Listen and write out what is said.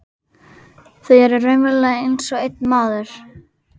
Þau eru raunverulega einsog einn maður.